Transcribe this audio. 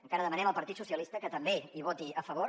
encara demanem al partit socia listes que també hi voti a favor